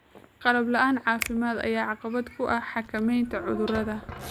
Qalab la'aan caafimaad ayaa caqabad ku ah xakameynta cudurrada.